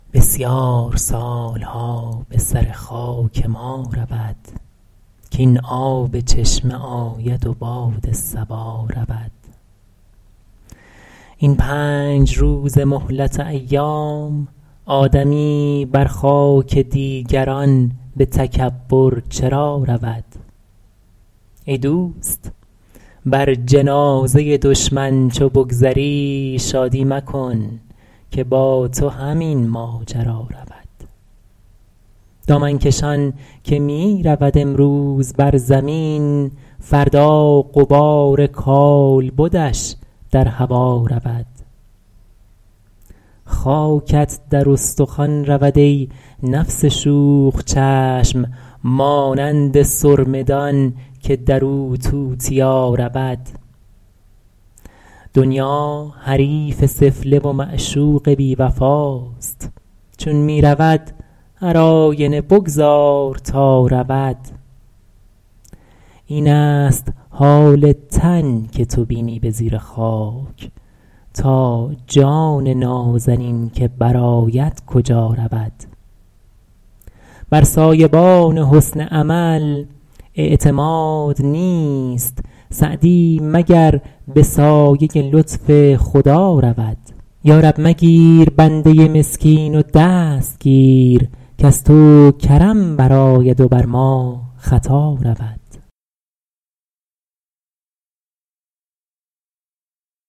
بسیار سالها به سر خاک ما رود کاین آب چشمه آید و باد صبا رود این پنج روزه مهلت ایام آدمی بر خاک دیگران به تکبر چرا رود ای دوست بر جنازه دشمن چو بگذری شادی مکن که با تو همین ماجرا رود دامن کشان که می رود امروز بر زمین فردا غبار کالبدش در هوا رود خاکت در استخوان رود ای نفس شوخ چشم مانند سرمه دان که در او توتیا رود دنیا حریف سفله و معشوق بی وفاست چون می رود هر آینه بگذار تا رود این است حال تن که تو بینی به زیر خاک تا جان نازنین که بر آید کجا رود بر سایبان حسن عمل اعتماد نیست سعدی مگر به سایه لطف خدا رود یارب مگیر بنده مسکین و دست گیر کز تو کرم برآید و بر ما خطا رود